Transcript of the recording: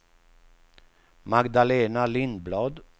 Magdalena Lindblad